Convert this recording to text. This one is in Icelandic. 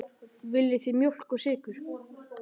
Viljið þið mjólk og sykur?